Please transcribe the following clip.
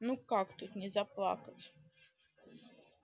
ну как тут не заплакать